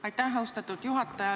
Aitäh, austatud juhataja!